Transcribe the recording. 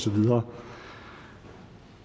videre